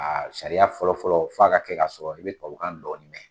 A sariya fɔlɔfɔlɔ f'a ka kɛ ka sɔrɔ i bɛ tubabukan dɔɔnin mɛn.